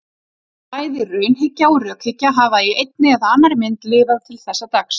Bæði raunhyggja og rökhyggja hafa í einni eða annarri mynd lifað til þessa dags.